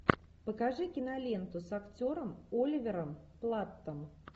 покажи киноленту с актером оливером платтом